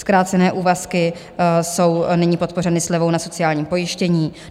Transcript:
Zkrácené úvazky jsou nyní podpořeny slevou na sociálním pojištění.